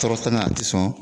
Tɔrɔ tɛ n na, a te sɔn.